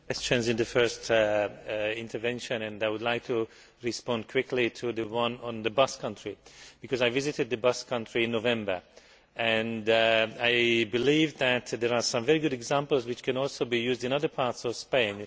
exchanged in the first intervention and I would like to respond quickly to the one on the Basque country because I visited the Basque country in November and I believe that there are some very good examples, which can also be used in other parts of Spain.